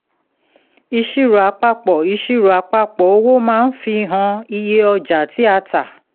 ìṣirò àpapọ̀ ìṣirò àpapọ̀ owó máa fi hàn iye ọjà tí a tà